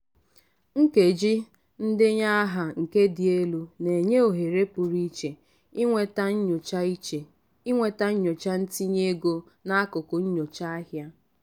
nkeji ndenye aha nke dị elu na-enye ohere pụrụ iche inweta nyocha iche inweta nyocha ntinye ego na akụkọ nyocha ahịa.